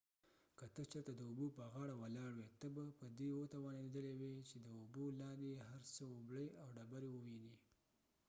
که ته چېرته د اوبو په غاړه ولاړ وي ته به په دي توانیدلای وي چې د اوبو کې لاندې هر څه اوبړۍ او ډبری ووينی